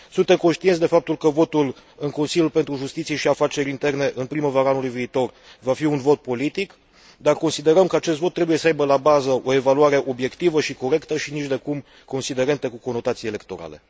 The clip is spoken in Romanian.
Suntem conștienți de faptul că votul în Consiliul pentru Justiție și Afaceri Interne în primăvara anului viitor va fi un vot politic, dar considerăm că acest vot trebuie să aibă la bază o evaluare obiectivă și corectă, și nicidecum considerente cu conotații electorale.